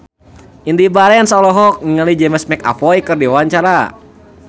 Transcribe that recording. Indy Barens olohok ningali James McAvoy keur diwawancara